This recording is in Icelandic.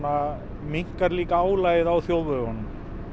minnkar líka álagið á þjóðvegunum